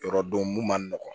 Yɔrɔ don mun man nɔgɔn